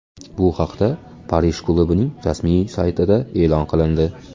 Bu haqda Parij klubining rasmiy saytida e’lon qilindi .